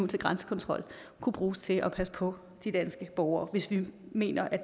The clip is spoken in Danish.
til grænsekontrol kunne bruges til at passe på de danske borgere hvis vi mener at